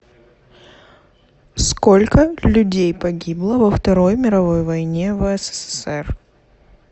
сколько людей погибло во второй мировой войне в ссср